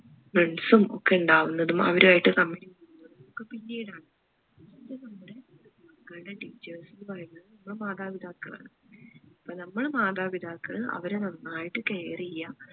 friends ഉം ഒക്കെ ഇണ്ടാവുന്നതും അവരുമായിട്ട് സംസാ ചെയ്യുന്നതും ഒക്കെ പിന്നീട് ആണ് first നമ്മുടെ മക്കളുടെ teachers എന്ന് പറയുന്നത് നമ്മൾ മാതാപിതാക്കൾ ആണ് അപ്പൊ നമ്മൾ മാതാപിതാക്കൾ അവരെ നന്നായിട്ട് care ചെയ്യാ